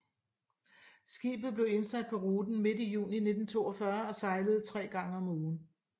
Skibet blev indsat på ruten midt i juni 1942 og sejlede tre gange om ugen